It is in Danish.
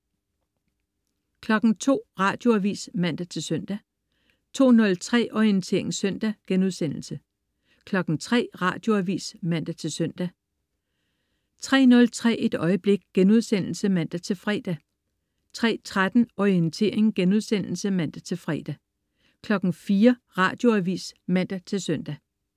02.00 Radioavis (man-søn) 02.03 Orientering søndag* 03.00 Radioavis (man-søn) 03.03 Et øjeblik* (man-fre) 03.13 Orientering* (man-fre) 04.00 Radioavis (man-søn)